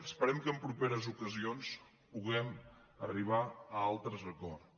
esperem que en properes ocasions puguem arribar a altres acords